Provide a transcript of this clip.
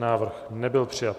Návrh nebyl přijat.